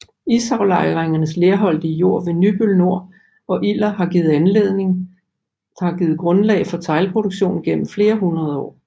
Isaflejringernes lerholdige jord ved Nybøl Nor og Iller har givet grundlag for teglproduktion gennem flere hundrede år